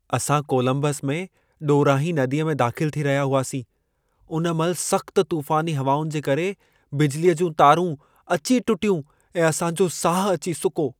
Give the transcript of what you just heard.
असां कोलंबस में ॾोरांहीं नदीअ में दाख़िल थी रहिया हुआसीं, उन महिल सख़्त तूफ़ानी हवाउनि जे करे बिजलीअ जूं तारूं अची टुटियूं ऐं असां जो साह अची सुको।